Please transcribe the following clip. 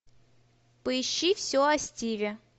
поищи все о стиве